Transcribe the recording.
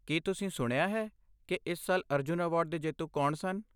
ਕੀ ਤੁਸੀਂ ਸੁਣਿਆ ਹੈ ਕਿ ਇਸ ਸਾਲ ਅਰਜੁਨ ਅਵਾਰਡ ਦੇ ਜੇਤੂ ਕੌਣ ਸਨ?